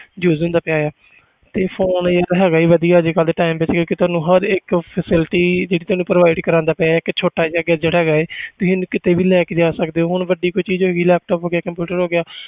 Use ਹੁੰਦਾ ਪਿਆ ਹੈ ਤੇ phone ਇੱਕ ਹੈਗਾ ਹੀ ਵਧੀਆ ਅੱਜ ਕੱਲ੍ਹ ਦੇ time ਵਿੱਚ ਇਹ ਹੈ ਕਿ ਤੁਹਾਨੂੰ ਹਰ ਇੱਕ facility ਇੱਕ ਤੁਹਾਨੂੰ provide ਕਰਵਾਉਂਦਾ ਪਿਆ ਇੱਕ ਛੋਟਾ ਜਿਹਾ gadget ਹੈਗਾ ਇਹ ਤੁਸੀਂ ਇਹਨੂੰ ਕਿਤੇ ਵੀ ਲੈ ਕੇ ਜਾ ਸਕਦੇ ਹੋ ਹੁਣ ਵੱਡੀ ਕੋਈ ਚੀਜ਼ ਹੈਗੀ laptop ਹੋ ਗਿਆ computer ਹੋ ਗਿਆ